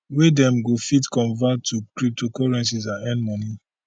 wey dem go fit convert to cryptocurrencies and earn money